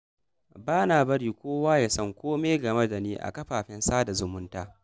Ba na bari kowa ya san kome game da ni a kafafen sada zumunta.